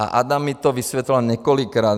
A Adam mi to vysvětloval několikrát.